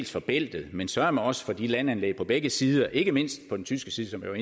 for bæltet men søreme også for landanlæggene på begge sider ikke mindst på den tyske side som